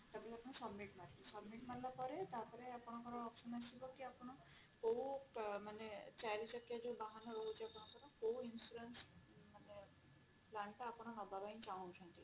submit ମାରିଲା ପରେ ଆପଣଙ୍କର option ଆସିବ କି ଆପଣ କୋଉ ମାନେ ଚାରି ଚକିଆ ବାହାନ ରହୁଛି ଆପଣଙ୍କର କୋଉ insurance ମାନେ plan ଟା ଆପଣ ନବାପାଇଁ ଚାହୁଁଛନ୍ତି